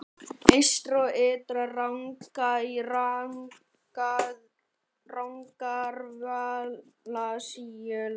Eystri- og Ytri-Rangá í Rangárvallasýslu.